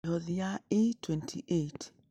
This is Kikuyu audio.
Mĩhothi ya E28: